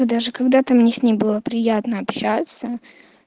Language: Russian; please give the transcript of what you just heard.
даже когда-то мне с ней было приятно общаться